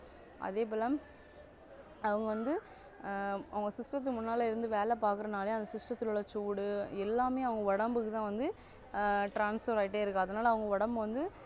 அதேபோல அவங்க வந்து ஆஹ் அவங்க system க்கு முன்னால இருந்து வேலை பாக்குறதுனால அந்த system த்துல உள்ள சூடு எல்லாமே அவங்க உடம்புக்குதான் வந்து ஆஹ் transfer ஆகிக்கிட்டே இருக்கும் அதனால அவங்க உடம்பு வந்து